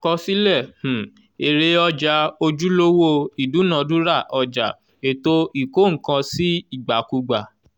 kọsílẹ̀ um èrè ọjà ojúlówó ìdúnàdúrà ọjà ètò ìkó-nǹkan-sí-ìgbàkúgbà.